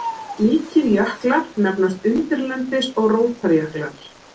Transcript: Slíkir jöklar nefnast undirlendis- eða rótarjöklar.